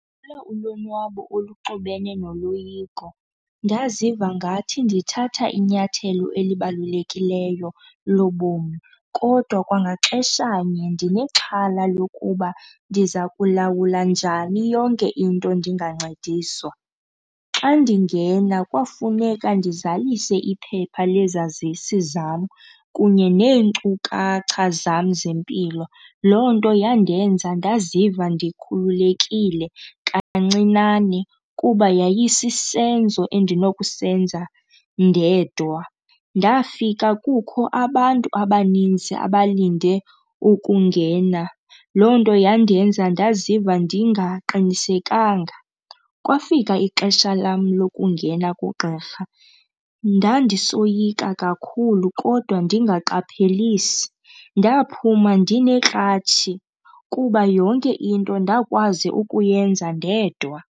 ulonwabo oluxubene noloyiko. Ndaziva ngathi ndithatha inyathelo elibalulekileyo lobomi kodwa kwangaxeshanye ndinexhala lokuba ndiza kulawula njani yonke into ndingancediswa. Xa ndingena kwafuneka ndizalise iphepha lezazisi zam kunye neenkcukacha zam zempilo, loo nto yandenza ndaziva ndikhululekile kancinane kuba yayisisenzo endinokusenza ndedwa. Ndafika kukho abantu abaninzi abalinde ukungena, loo nto yandenza ndaziva ndingaqiniseka. Kwafika ixesha lam lokungena kugqirha, ndandisoyika kakhulu kodwa ndingaqaphelisi. Ndaphuma ndinekratshi kuba yonke into ndakwazi ukuyenza ndedwa.